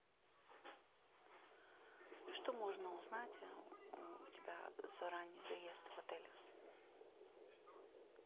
что можно узнать у тебя за ранний заезд в отель